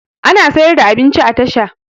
Ana siyar da abinci a tasha